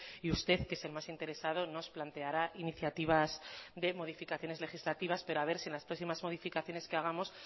y usted que es el más interesado nos planteará iniciativas de modificaciones legislativas pero a ver si en las próximas modificaciones que hagamos